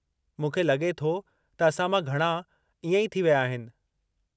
मूंखे लॻे थो त असां मां घणा इएं ई थी विया आहिनि।